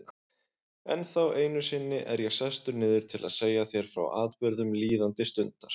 Ennþá einu sinni er ég sestur niður til að segja þér frá atburðum líðandi stundar.